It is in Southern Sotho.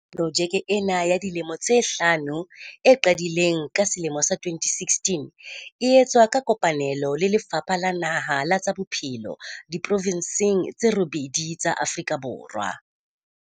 Projeke ena ya dilemo tse hlano, e qadileng ka selemo sa 2016, e etswa ka kopane lo le Lefapha la Naha la tsa Bophelo diprovenseng tse robedi tsa Afrika Borwa.